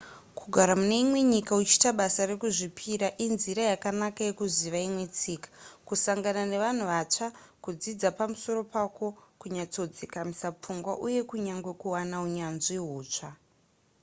kugara mune imwe nyika uchiita basa rekuzvipira inzira yakanaka yekuziva imwe tsika kusangana nevanhu vatsva kudzidza pamusoro pako kunyatsodzikamisa pfungwa uye kunyange kuwana unyanzvi hutsva